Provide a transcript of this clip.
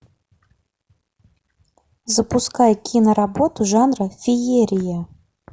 запускай киноработу жанра феерия